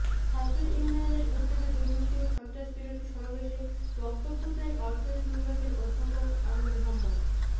ছাত্র ইউনিয়নের উদ্যোগে দুর্নীতি ও সন্ত্রাসবিরোধী সমাবেশে বক্তব্য দেন অর্থনীতি বিভাগের অধ্যাপক আনু মুহাম্মদ